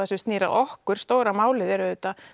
sem snýr að okkur stóra málið er auðvitað